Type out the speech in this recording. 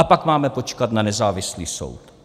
A pak máme počkat na nezávislý soud.